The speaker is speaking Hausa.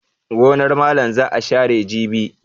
Gonar malam za a share jibi.